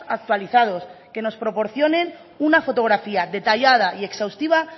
actualizados que nos proporcionen una fotografía detallada y exhaustiva